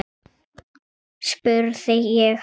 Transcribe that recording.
spurði ég hana.